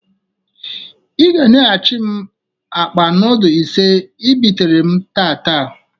I ga enyegachi m akpa nudul ise I bitere m. tata!